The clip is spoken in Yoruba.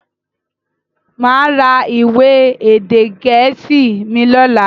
Máa ra ìwé èdè gẹ̀ẹ́sì mi lọ́la.